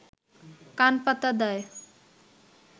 কান পাতা দায়